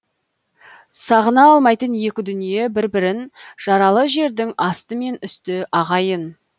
сағына алмайтын екі дүние бір бірін жаралы жердің асты мен үсті ағайын